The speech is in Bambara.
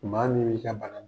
Maa min y'i ka bana